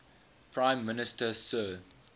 prime minister sir